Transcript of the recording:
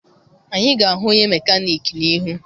Anyị ga-ahụ onye mekaniki n'ihu.